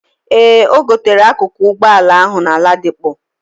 Ee, ogotere akuku ụgbọ ala ahu na Ladipo.